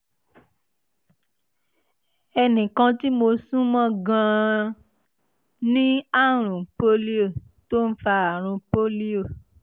ẹnì kan tí mo sún mọ́ gan-an ní àrùn polio tó ń fa àrùn polio